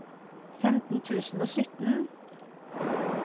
femten tusen og sytten